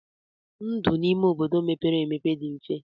Ndụ n'ime obodo mepere emepe dị mfe.